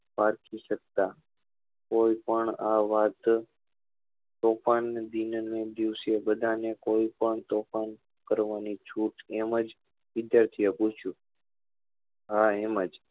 પાર્થવી શકતા કોઈ પણ આ વાત તોફાન દિવસ ના દિવસે બધા ને કોઈ પણ તોફાન કરવા ની છૂટ એમ જ વિદ્યાર્થી એ પૂછ્યું હા એમ જ